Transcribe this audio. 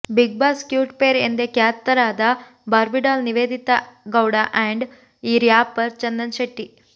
Bigg Boss cute pair ಎಂದೇ ಖ್ಯಾತರಾದ Barbie doll Niveditha Gowda and rapper Chandan Shetty